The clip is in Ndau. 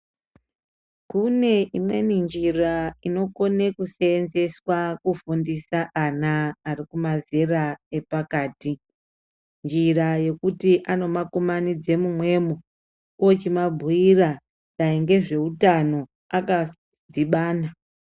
Kune imweni njira inokone kuseenzeswa kufundisa ana ari kumazera epakati. Njira yekuti ano makumanidze mumwemwo ochi mabhuira dai ngezveutano akadhibana.